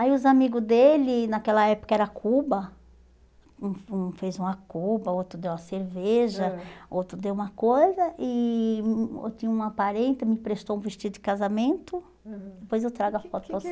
Aí os amigos dele, naquela época era Cuba, um um fez uma Cuba, outro deu uma cerveja, ãh outro deu uma coisa, e hum hum eu tinha uma parente, me prestou um vestido de casamento, aham, depois eu trago a foto para vocês.